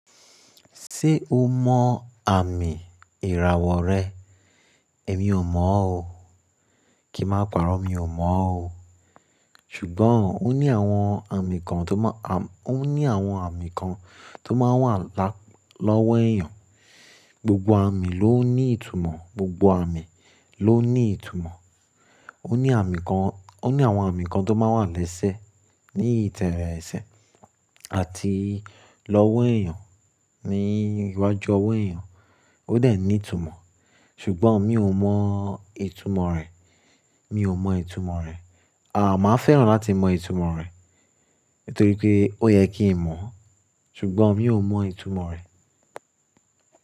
Ṣé o mọ àmì ìràwọ̀ rẹ? Èmi ò mọ̀ ọ́. Kí máa pàrọ́, mi ò mọ̀ ọ́. Ṣùgbọ́n ó ní àwọn àmì kan tó máa, àm-- ó ní àwọn àmì kan tó máa ń wà lá-- lọ́wọ́ èèyàn. Gbogbo àmì ló ń ní ìtumọ̀, gbogbo àmì ló ń ní ìtumọ̀. Ó ní àmì kan, ó ní àwọn àmì kan tó máa ń wà lẹ́sẹ̀, ní ìtẹ̀lẹ́rẹ̀ ẹsẹ̀ àti lọ́wọ́ èèyàn, ní iwájú ọwọ́ èèyàn, ó dè ní ìtumọ̀. Ṣùgbọ́n mi ò mọ ìtumọ̀ rẹ̀, mi ò mọ ìtumọ̀ rẹ̀. Àà, màá fẹ́ràn láti mọ ìtumọ̀ rẹ̀, torí pé ó yẹ kí n mọ̀ ọ́n. Ṣùgbọ́n mi ò mọ ìtumọ̀ rẹ̀.